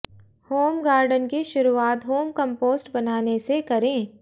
home garden की शुरुआत home compost बनाने से करें